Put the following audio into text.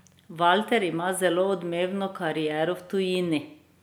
Valter ima zelo odmevno kariero v tujini.